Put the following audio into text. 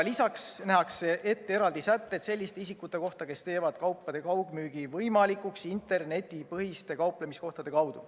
Lisaks nähakse ette eraldi sätted selliste isikute kohta, kes teevad kaupade kaugmüügi võimalikuks internetipõhiste kauplemiskohtade kaudu.